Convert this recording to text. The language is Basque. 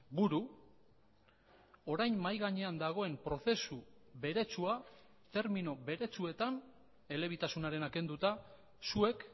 buru orain mahai gainean dagoen prozesu beretsua termino beretsuetan elebitasunarena kenduta zuek